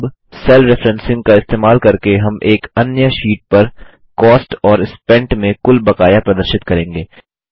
अब cell referencing का इस्तेमाल करके हम एक अन्य शीट पर कॉस्ट और स्पेंट में कुल बकाया प्रदर्शित करेंगे